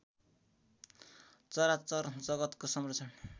चराचर जगतको संरक्षण